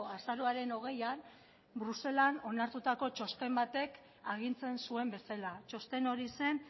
azaroaren hogeian bruselan onartutako txosten batek agintzen zuen bezala txosten hori zen